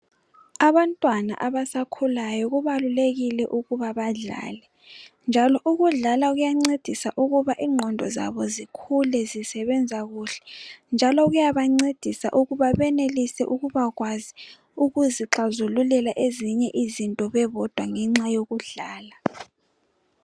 Abantwana abasakhulayo kubalulekile ukuba badlale njalo ukudlala kuyancedisa ukuba ingqondo zikhule zisebenza kuhle njalo kuyancedisa ukuba benelise ukubakwazi ukuzixazululela ezinye izinto bebodwa ngenxa yokudlala.